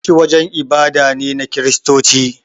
Coci wajen ibada ne na kiristoci